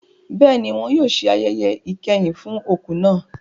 Bẹ́ẹ̀ni, wọn a ṣe ayẹyẹ ìkẹyìn fún òkú náà.